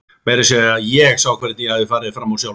Meira að segja ég sá hvernig ég hafði farið fram úr sjálfri mér.